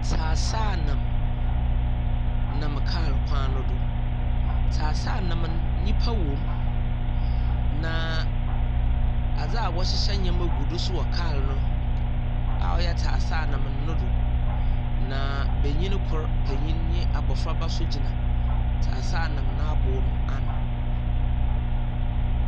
Tseaseanam nam nam kaar kwan no do. Tseaseanam no, nnipa wom, na adze a wɔhyehyɛ nyeɛma gu do nso wɔ kaar no a ɔyɛ tseaseɛnam no do, na benyin kor panyin ne abɔfraba nso gyina tseaseanam no aboo no ano.